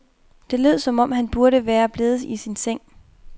Det lød som om han burde være blevet i sin seng.